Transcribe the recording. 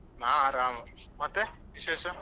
ನಾ ಆರಾಮ ಮತ್ತೆ ವಿಶೇಷ?